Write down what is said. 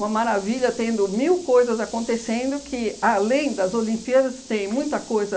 maravilha, tendo mil coisas acontecendo que, além das Olimpíadas, tem muita coisa